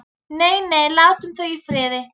Nei, nei, látum þau í friði.